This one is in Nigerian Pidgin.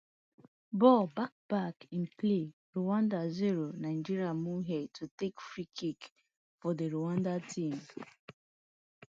ball back back in play rwanda zero nigeria to takefree kick fordi rwanda team